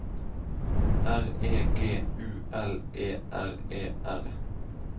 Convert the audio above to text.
R E G U L E R E R